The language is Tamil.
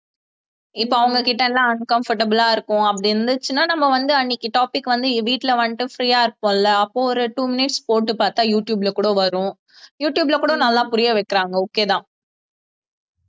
இப்ப அவங்க கிட்ட எல்லாம் uncomfortable ஆ இருக்கும் அப்படி இருந்துச்சுன்னா நம்ம வந்து அன்னைக்கு topic வந்து வீட்டுல வந்துட்டு free ஆ இருக்கும் இல்ல அப்போ ஒரு two minutes போட்டு பாத்தா யூடுயூப்ல கூட வரும் யூடுயூப்ல கூட நல்லா புரிய வைக்கிறாங்க okay தான்